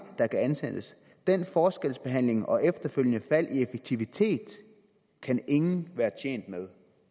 der kan ansættes den forskelsbehandling og efterfølgende fald i effektivitet kan ingen være tjent med